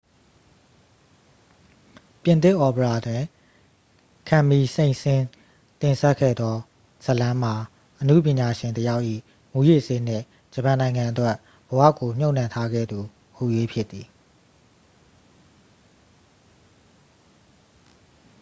"ပြင်သစ်အော်ပရာတွင် ကမ်မီလ် စိန့်ဆင်းစ် တင်ဆက်ခဲ့သော ဇာတ်လမ်းမှာ အနုပညာရှင်တစ်ယောက်၏ "မူးယစ်ဆေးနှင့် ဂျပန်နိုင်ငံအတွက် ဘဝကို မြှပ်နှံထားခဲ့သူ" ဟူ၍ ဖြစ်သည်။